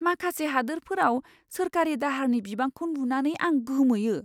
माखासे हादोरफोराव सोरखारि दाहारनि बिबांखौ नुनानै आं गोमोयो।